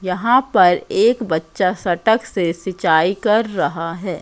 यहां पर एक बच्चा सटक से सिंचाई कर रहा है।